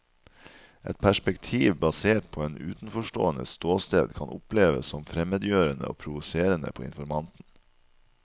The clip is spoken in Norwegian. Et perspektiv basert på en utenforståendes ståsted kan oppleves som fremmedgjørende og provoserende på informanten.